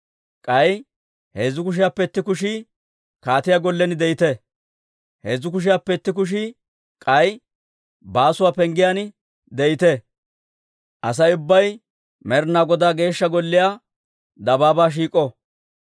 k'ay heezzu kushiyaappe itti kushii kaatiyaa gollen de'ite; heezzu kushiyaappe itti kushii k'ay Baasuwaa Penggiyaan de'ite. Asay ubbay Med'inaa Godaa Geeshsha Golliyaa dabaabaa shiik'o.